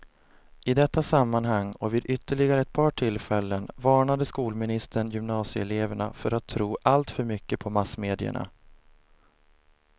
I detta sammanhang, och vid ytterligare ett par tillfällen, varnade skolministern gymnasieeleverna för att tro allt för mycket på massmedierna.